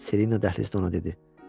Selina dəhlizdə ona dedi.